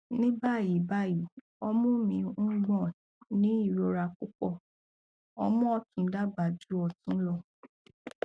ní báyìí báyìí ọmú mi ń gbò ní irora púpọ ọmú ọtún dàgbà ju ọtún lọ